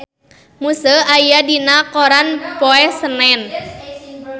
Muse aya dina koran poe Senen